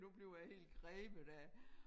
Nu bliver jeg helt grebet af